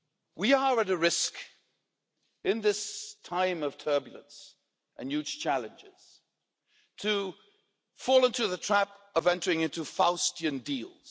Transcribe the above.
We are at a risk, in this time of turbulence and huge challenges, of falling into the trap of entering into Faustian deals.